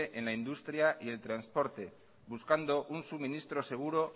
en la industria y el transporte buscando un suministro seguro